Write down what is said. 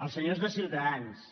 als senyors de ciutadans